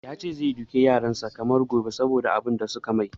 Yace gobe zai duka yaran sa kamar ba gobe saboda abun da suka mai